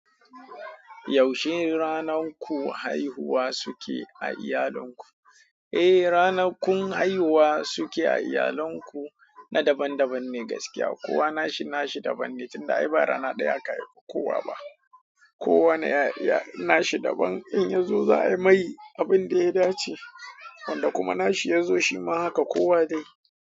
Yaushe ranar ku haihuwa suke a iyalinku? Eh, ranakun haihuwa suke a iyalinku na daban-daban ne gaskiya. Kowa nashi nashi daban ne Tun da ai ba rana ɗaya aka haifu kowa ba. Kowa na nashi daban. In yazo za a yi mai abin da ya dace, wanda kuma nashi yazo shi ma haka kowa dai.